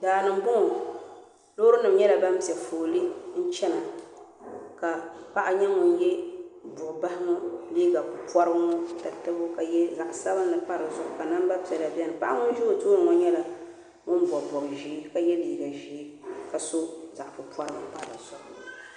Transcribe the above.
Daani n boŋɔ loori nima nyɛla ban piɛ fooli n chena ka paɣa nyɛ ŋun ye buɣubahi ŋɔ liiga porili ŋɔ tatabo ka ye zaɣa sabinli pa di zuɣu ka namba piɛla biɛni paɣa ŋun za o tooni ŋɔ nyɛla ŋun bobi bob'ʒee ka ye liiga ʒee ka so zaɣa pupɔrili pa di zuɣu.